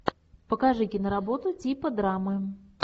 покажи киноработу типа драмы